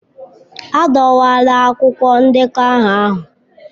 Adọwala akwụkwọ ndekọ aha ahụ.